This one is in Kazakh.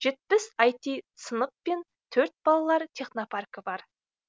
жетпіс іт сынып пен төрт балалар технопаркі бар